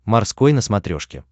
морской на смотрешке